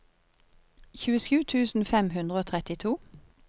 tjuesju tusen fem hundre og trettito